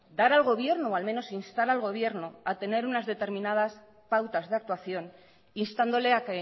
dar al gobierno o al menos instar al gobierno a tener unas determinadas pautas de actuación instándole a